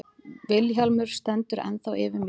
Vilhjálmur stendur ennþá yfir mér.